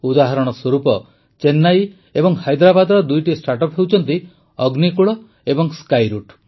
ଉଦାହରଣ ସ୍ୱରୂପ ଚେନ୍ନାଇ ଓ ହାଇଦ୍ରାବାଦର ଦୁଇଟି ଷ୍ଟାର୍ଟଅପ୍ ହେଉଛନ୍ତି ଅଗ୍ନିକୁଳ ଏବଂ ସ୍କାଇରୁଟ୍